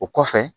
O kɔfɛ